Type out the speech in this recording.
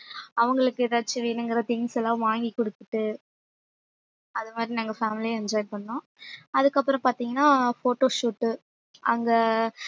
அவங்களுக்கு ஏதாச்சு வேணும்ங்கிற things எல்லாம் வாங்கி கொடுத்துட்டு அது மாதிரி நாங்க family ஆ enjoy பண்ணோம் அதுக்கப்புறம் பார்த்தீங்கன்னா photoshoot அங்க